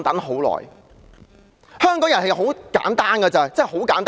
香港人很簡單，真的很簡單。